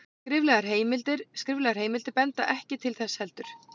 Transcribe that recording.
skriflegar heimildir benda ekki til þess heldur